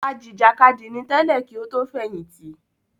Ajìjàkadì ni tẹ́lẹ̀ kí ó tó fẹ̀yìntì